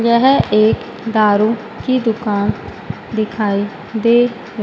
यह एक दारू की दुकान दिखाई दे--